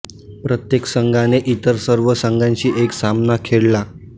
प्रत्येक संघाने इतर सर्व संघांशी एक सामना खेळला